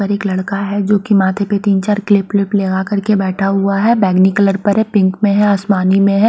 एक लड़का है जो कि माथे पर तीन चार क्लिप फ्लिप लगा कर के बैठा हुआ है बैगनी कलर पर है पिंक में है आसमानी में है।